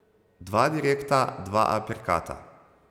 Dva direkta, dva aperkata.